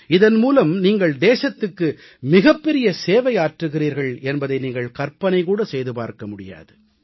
இதன் மூலம் நீங்கள் தேசத்துக்கு மிகப் பெரிய சேவையாற்றுகிறீர்கள் என்பதை நீங்கள் கற்பனை கூட செய்து பார்க்க முடியாது